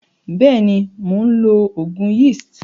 Beeni, Mon lo ogun yeast.